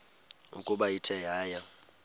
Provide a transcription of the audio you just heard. ukuba ithe yaya